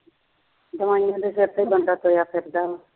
ਦਵਾਈਆਂ ਦੇ ਸਿਰ ਤੇ ਬੰਦਾ ਤੁਰਿਆ ਫਿਰਦਾ ਵਾ